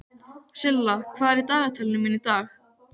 Silla, hvað er í dagatalinu mínu í dag?